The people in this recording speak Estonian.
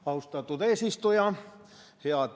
Austatud eesistuja!